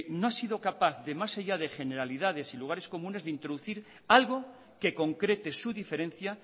no ha sido capaz de más allá de generalidades y lugares comunes de introducir algo que concrete su diferencia